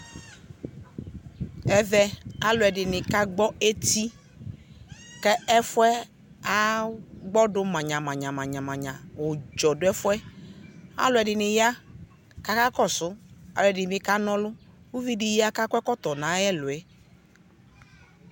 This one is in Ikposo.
Ɛvɛ Aluɛde ne kagbɔ eti, kɛfuɛ agbɔdo manyamanya Udzɔ do efuɛAluɛde ne ya kakakɔso Uvi de ya kakɔ ɛkɔto no ayɛluɛ